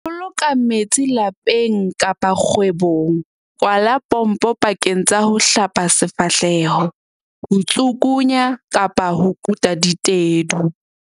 Ho boloka metsi lapeng kapa kgwebong Kwala pompo pakeng tsa ho hlapa sefahleho, ho tsukunya kapa ho kuta ditedu.